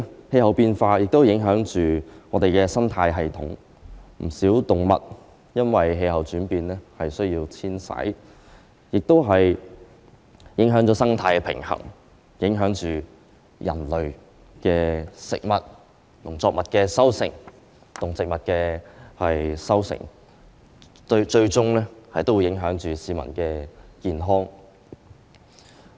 氣候變化亦影響生態系統，不少動物因為氣候轉變而需要遷徙，影響了生態平衡，影響人類的食物、農作物的收成及動植物的生長，最終亦影響市民的健康。